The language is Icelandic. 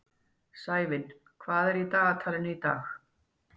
Sævin, hvað er í dagatalinu í dag?